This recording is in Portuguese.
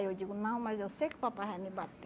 Aí eu digo, não, mas eu sei que papai vai me bater.